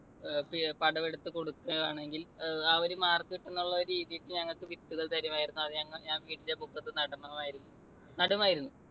പിഴ്~പടം എടുത്ത് കൊടുക്കുവാണെങ്കിൽ ആ ഒരു mark കിട്ടും എന്നുള്ള രീതിയിൽ ഞങ്ങൾക്ക് വിത്തുകൾ തരുമായിരുന്നു. അത് ഞങ്ങൾ ഞാൻ വീടിന്റെ മുറ്റത്ത് നടണമായിരുന്നു. നടുമായിരുന്നു